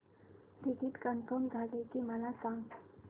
ticket confirm झाले की मला सांग